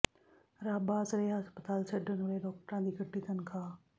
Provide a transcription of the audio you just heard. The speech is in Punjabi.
ਰੱਬ ਆਸਰੇ ਹਸਪਤਾਲ ਛੱਡਣ ਵਾਲੇ ਡਾਕਟਰਾਂ ਦੀ ਕੱਟੀ ਤਨਖ਼ਾਹ